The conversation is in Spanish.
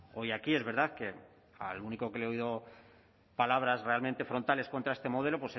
hoy aquí es verdad que al único que le he oído palabras realmente frontales contra este modelo